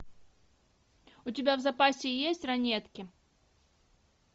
у тебя в запасе есть ранетки